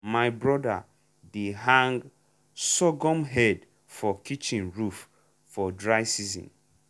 my brother dey hang sorghum head for kitchen roof for dry season.